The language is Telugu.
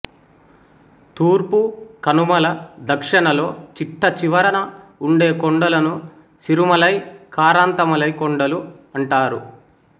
తూర్పు కనుమల దక్షిణలో చిట్టచివరన ఉండే కొండలను సిరుమలై కారంతమలై కొండలు అంటారు